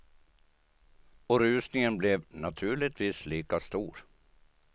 Och rusningen blev naturligtvis lika stor.